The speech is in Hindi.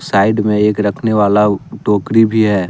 साइड मे एक रखने वाला टोकरी भी है।